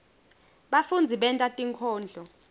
bafundzi benta tinkondlo